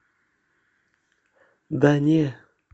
да не